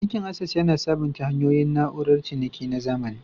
Bankin Access, yana sabunta hanyoyin na'urar ciniki na zamani.